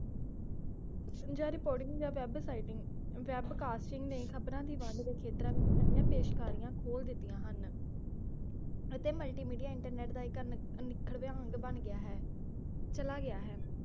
ਜਾਂ reporting ਜਾਂ web siting web casting ਨੇ ਖਬਰਾਂ ਦੀ ਵੰਡ ਖੇਤਰਾਂ ਵਿਚ ਨਵੀਆਂ ਪੇਸ਼ਕਾਰੀਆਂ ਖੋਲ ਦਿੱਤੀਆਂ ਹਨ ਅਤੇ multimedia ਇੰਟਰਨੇਟ ਦਾ ਇਕ ਨ~ ਨਿਖਰਦਾ ਬਣ ਗਿਆ ਹੈ ਚਲਾ ਗਿਆ ਹੈ